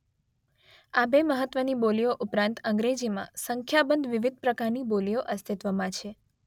આ બે મહત્વની બોલીઓ ઉપરાંત અંગ્રેજીમાં સંખ્યાબંધ વિવિધ પ્રકારની બોલીઓ અસ્તિત્વમાં છે.